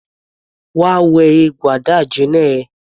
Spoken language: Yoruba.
Wá wẹ egbò àdáàjina ẹ!